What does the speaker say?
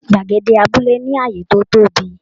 Gbàgede abúlé ní ààyè to tóbi.